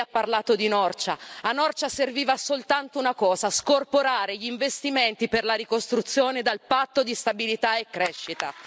Lei ha parlato di Norcia, a Norcia serviva soltanto una cosa scorporare gli investimenti per la ricostruzione dal patto di stabilità e crescita.